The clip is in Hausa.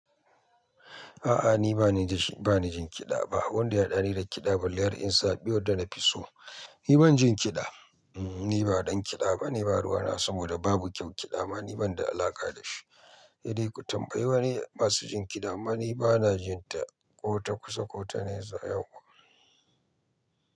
A'a ni bani da shi, bani jin kiɗa ba. Wanda ya haɗa ni da kiɗa balle har in zaɓi wadda na fi so. Ni ban jin kiɗa, hmm ni ba dan kiɗa bane, ba ruwana, saboda babu kyau kiɗa ma ni ban da alaƙa da shi. Saide ku tambayi wani masu jin kiɗa, amma ni bana jin ta, ko ta kusa ko ta nesa yau.